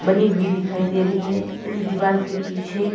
भी दिखाई दे रही है इस दीवार के पीछे।